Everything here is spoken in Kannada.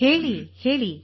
ಹೇಳಿ ಹೇಳಿ